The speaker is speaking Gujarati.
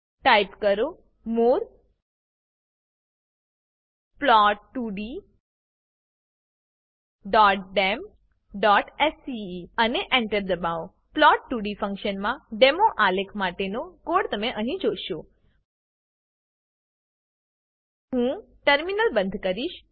ટાઈપ કરો મોરે plot2ddemસ્કે અને enter દબાવો plot2ડી ફંક્શનનાં ડેમો આલેખ માટેનો કોડ તમે અહીં જોશો હું ટર્મિનલ બંધ કરીશ